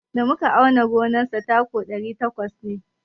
Da muka auna gonar sa taku ɗari takwas ne.